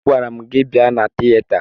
Agwara m gị bịa na tiyeta!